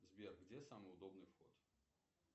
сбер где самый удобный вход